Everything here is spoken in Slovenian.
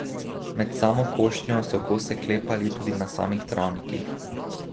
Med samo košnjo so kose klepali tudi na samih travnikih.